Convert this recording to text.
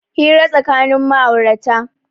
Hira tsakanin ma'aurata